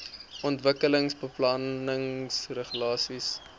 ontwikkelingsbeplanningregulasies